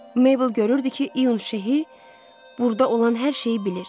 Meybl görürdü ki, İyun Şehi burda olan hər şeyi bilir.